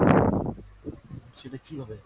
সেটা কীভাবে?